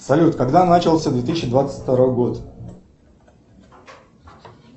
салют когда начался две тысячи двадцать второй год